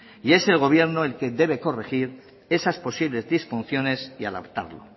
y es el gobierno el que debe corregir esas posibles disfunciones y adaptarlo